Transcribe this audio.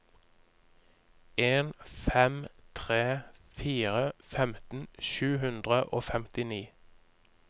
en fem tre fire femten sju hundre og femtini